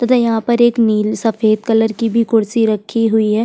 तथा यहाँ पर एक नील सफदे कलर की भी कुर्सी रखी हुई है।